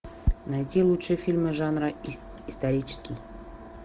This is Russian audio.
найти лучшие фильмы жанра исторический